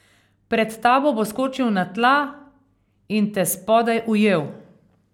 Pred tabo bo skočil na tla in te spodaj ujel.